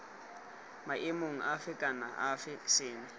maemong afe kana afe seno